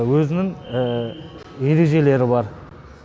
өзінің ережелері бар